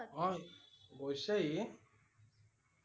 অ গৈছে ই